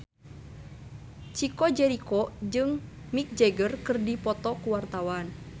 Chico Jericho jeung Mick Jagger keur dipoto ku wartawan